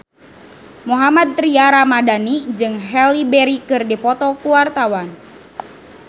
Mohammad Tria Ramadhani jeung Halle Berry keur dipoto ku wartawan